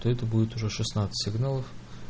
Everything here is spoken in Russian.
то это будет уже шестнадцать сигналов